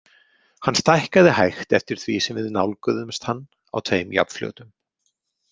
Hann stækkaði hægt eftir því sem við nálguðumst hann á tveim jafnfljótum.